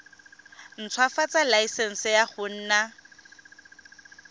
ntshwafatsa laesense ya go nna